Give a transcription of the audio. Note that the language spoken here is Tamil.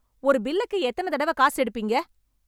ஒரு பில்லுக்கு எத்தனை தடவை காசு எடுப்பீங்க?